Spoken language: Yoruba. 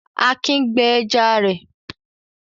Akin gbẹ ẹja rẹ̀.